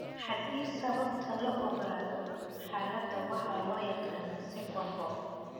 Haddii sababta la ogaado, xaaladda waxaa loo yaqaan 'second BOOP'.